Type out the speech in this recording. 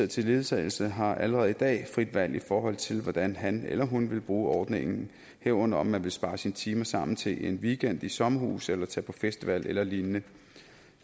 til ledsagelse har allerede i dag frit valg i forhold til hvordan han eller hun vil bruge ordningen herunder om man vil spare sine timer sammen til en weekend i sommerhus eller tage på festival eller lignende